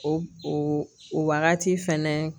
O o wagati fɛnɛ